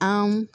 An